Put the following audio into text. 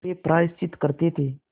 वे प्रायश्चित करते थे